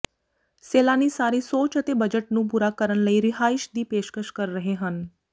ਸੈਲਾਨੀ ਸਾਰੇ ਸੋਚ ਅਤੇ ਬਜਟ ਨੂੰ ਪੂਰਾ ਕਰਨ ਲਈ ਰਿਹਾਇਸ਼ ਦੀ ਪੇਸ਼ਕਸ਼ ਕਰ ਰਹੇ ਹਨ